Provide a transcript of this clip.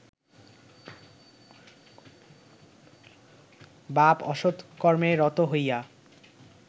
বাপ অসৎ কর্মে রত হইয়া